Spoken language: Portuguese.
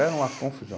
Era uma confusão.